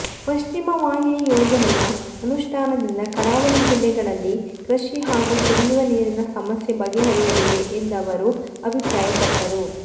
ಪಶ್ಚಿಮ ವಾಹಿನಿ ಯೋಜನೆಯ ಅನುಷ್ಠಾನದಿಂದ ಕರಾವಳಿ ಜಿಲ್ಲೆಗಳಲ್ಲಿ ಕೃಷಿ ಹಾಗೂ ಕುಡಿಯುವ ನೀರಿನ ಸಮಸ್ಯೆ ಬಗೆಹರಿಯಲಿದೆ ಎಂದವರು ಅಭಿಪ್ರಾಯಪಟ್ಟರು